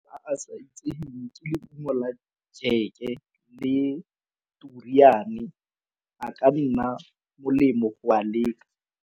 A sa itseweng ke leungo la jeke le turiane a ka nna molemo go a leka.